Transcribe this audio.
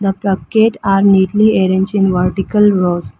The packets are neatly arranged in multiple rows.